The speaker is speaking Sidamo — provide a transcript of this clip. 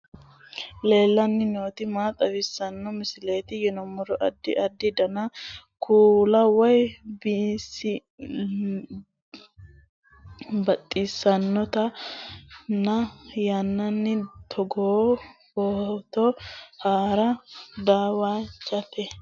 aleenni nooti maa xawisanno misileeti yinummoro addi addi dananna kuula woy biinsille amaddino footooti yaate qoltenno baxissannote xa tenne yannanni togoo footo haara danvchate